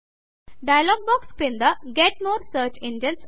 dialog box క్రింద get more search engines